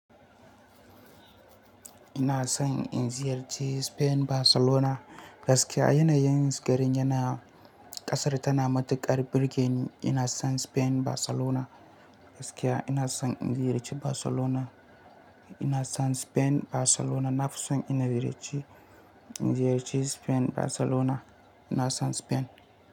Ina son in ziyarci Spain, Barcelona gaskiya yanayin gari yana ƙasar tana matuƙar burge ni. Ina son Spain; Barcelona gaskiya ina son in ziyarci Barcelona. Ina son Spain Barcelona. Nafison ina ziyarci, in ziyarci Spain; Barcelona. Ina son Spain.